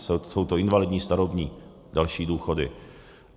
Jsou to invalidní, starobní, další důchody.